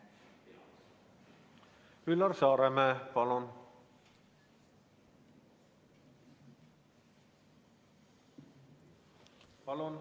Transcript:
Üllar Saaremäe, palun!